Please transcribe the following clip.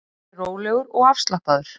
Ég er rólegur og afslappaður.